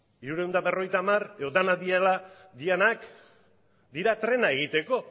hirurehun eta berrogeita hamar edo denak direla dianak dira trena egiteko